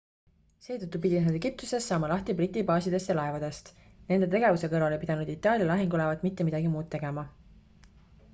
seetõttu pidid nad egiptuses saama lahti briti baasidest ja laevadest nende tegevuse kõrval ei pidanud itaalia lahingulaevad mitte midagi muud tegema